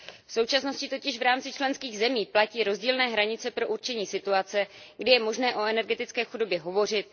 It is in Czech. V současnosti totiž v rámci členských zemí platí rozdílné hranice pro určení situace, kdy je možné o energetické chudobě hovořit.